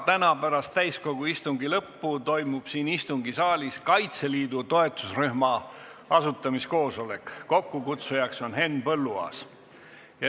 Täna pärast täiskogu istungi lõppu toimub siin istungisaalis Kaitseliidu toetusrühma asutamise koosolek, kokkukutsujaks on Henn Põlluaas.